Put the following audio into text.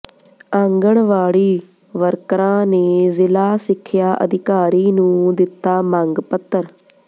ਆਂਗਣਵਾੜੀ ਵਰਕਰਾਂ ਨੇ ਜ਼ਿਲ੍ਹਾ ਸਿੱਖਿਆ ਅਧਿਕਾਰੀ ਨੂੰ ਦਿੱਤਾ ਮੰਗ ਪੱਤਰ